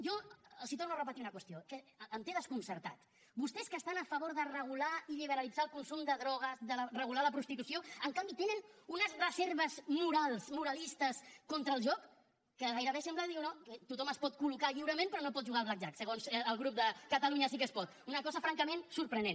jo els torno a repetir una qüestió que em té desconcertat vostès que estan a favor de regular i liberalitzar el consum de drogues de regular la prostitució en canvi tenen unes reserves morals moralistes contra el joc que gairebé sembla que diuen oh tothom es pot col·locar lliurement però no pot jugar al blackjack segons el grup de catalunya sí que es pot una cosa francament sorprenent